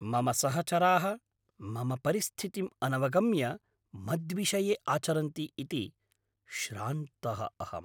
मम सहचराः मम परिस्थितिं अनवगम्य मद्विषये आचरन्ति इति श्रान्तः अहम्।